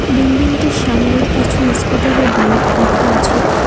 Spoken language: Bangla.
বিল্ডিংটির সামনে কিছু ইস্কুটার ও বাইক রাখা আছে।